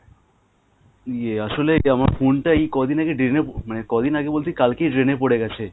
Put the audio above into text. ইয়ে আসলে আমার phone টা এই কয় দিন আগে drain এ মানে কয় দিন আগে বলতে কালকেই drain এ পড়ে গেছে